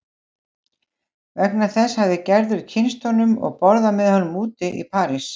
Vegna þessa hafði Gerður kynnst honum og borðað með honum úti í París.